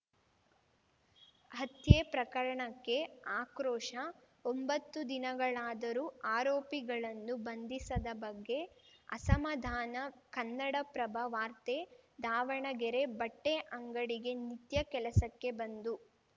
ಹತ್ಯೆ ಪ್ರಕರಣಕ್ಕೆ ಆಕ್ರೋಶ ಒಂಬತ್ತು ದಿನಗಳಾದರೂ ಆರೋಪಿಗಳನ್ನು ಬಂಧಿಸದ ಬಗ್ಗೆ ಅಸಮಾಧಾನ ಕನ್ನಡಪ್ರಭ ವಾರ್ತೆ ದಾವಣಗೆರೆ ಬಟ್ಟೆಅಂಗಡಿಗೆ ನಿತ್ಯ ಕೆಲಸಕ್ಕೆ ಬಂದು